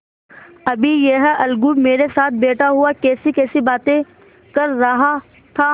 अभी यह अलगू मेरे साथ बैठा हुआ कैसीकैसी बातें कर रहा था